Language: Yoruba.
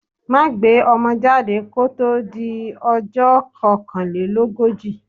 Má gbé ọmọ jáde kó tó di ọjọ́ kokanlelogoji.